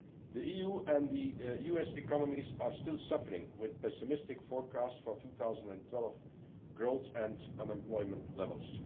The EU and the US economies are still suffering, with pessimistic forecasts for 2012 growth and unemployment levels.